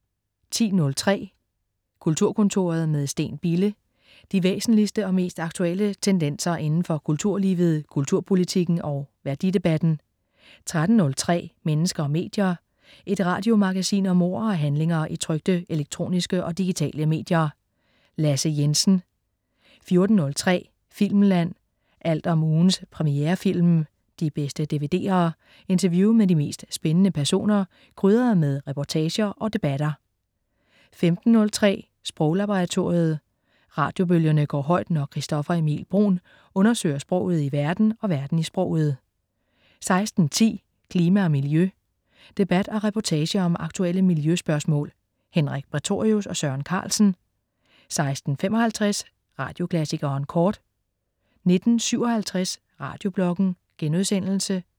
10.03 Kulturkontoret med Steen Bille. De væsentligste og mest aktuelle tendenser inden for kulturlivet, kulturpolitikken og værdidebatten 13.03 Mennesker og medier. Et radiomagasin om ord og handlinger i trykte, elektroniske og digitale medier. Lasse Jensen 14.03 Filmland. Alt om ugens premierefilm, de bedste dvd'er, interview med de mest spændende personer, krydret med reportager og debatter 15.03 Sproglaboratoriet. Radiobølgerne går højt, når Christoffer Emil Bruun undersøger sproget i verden og verden i sproget 16.10 Klima og miljø. Debat og reportage om aktuelle miljøspørgsmål. Henrik Prætorius og Søren Carlsen 16.55 Radioklassikeren Kort 19.57 Radiobloggen*